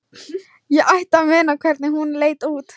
Ég ætti að muna hvernig hún leit út.